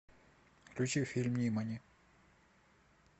включи фильм нимани